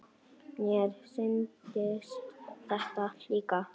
Mér sýndist þetta líka.